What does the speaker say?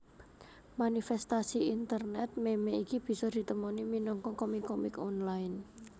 Manifèstasi internet meme iki bisa ditemoni minangka komik komik online